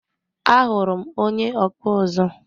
Ahuru m onye ọkpụ ụzụ.